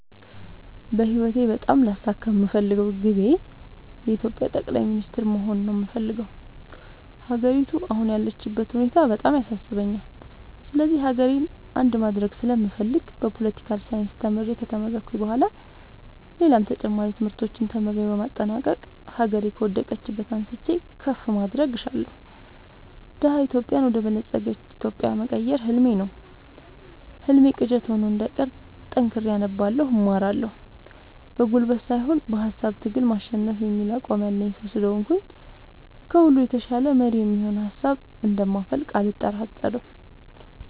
በህይወቴ በጣም ላሳካ የምፈልገው ግቤ የኢትዮጵያ ጠቅላይ ሚኒስተር መሆን ነው የምፈልገው። ሀገሪቱ አሁን ያለችበት ሁኔታ በጣም ያሳስበኛል ስለዚህ ሀገሬን አንድ ማድረግ ስለምፈልግ በፓለቲካል ሳይንስ ተምሬ ከተመረኩኝ በኋላ ሌላም ተጨማሪ ትምህርቶችን ተምሬ በማጠናቀቅ ሀገሬ ከወደቀችበት አንስቼ ከፍ ማድረግ እሻለሁ። ደሀ ኢትዮጵያን ወደ በለፀገች ኢትዮጵያ መቀየር ህልሜ ነው ህልሜ ቅዠት ሆኖ እንዳይቀር ጠንክሬ አነባለሁ እማራለሁ። በጉልበት ሳይሆን በሃሳብ ትግል ማሸነፍ የሚል አቋም ያለኝ ሰው ስለሆንኩኝ ከሁሉ የተሻለ መሪ የሚሆን ሀሳብ እንደ ማፈልቅ አልጠራጠርም።